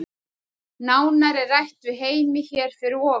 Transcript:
Nánar er rætt við Heimi hér fyrir ofan.